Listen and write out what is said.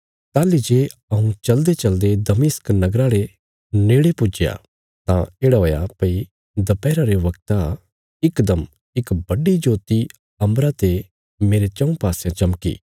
ताहली जे हऊँ चलदेचलदे दमिश्क नगरा रे नेड़े पुज्जया तां येढ़ा हुआ भई दपैहरा रे बगता इकदम इक बड्डी ज्योति अम्बरा ते मेरे चऊँ पासयां चमकी